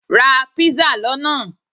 Ra pizza lona